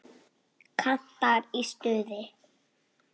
Kantar í stuði.